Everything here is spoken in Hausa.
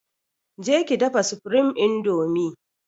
Je ki dafa supreme indomie!